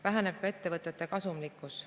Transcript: Väheneb ka ettevõtete kasumlikkus.